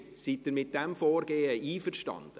Sind Sie mit diesem Vorgehen einverstanden?